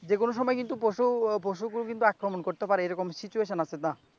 যে কোনো সময় পশু পশু আক্রমণ করতে পারে এরকম situation আছে না?